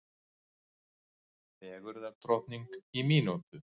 Fegurðardrottning í mínútu